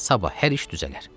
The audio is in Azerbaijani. Sabah hər iş düzələr.